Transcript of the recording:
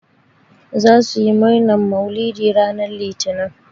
Zasu yi murnan mauluɗi ranan litinin.